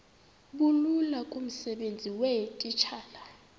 bulula kumsebenzi weetitshala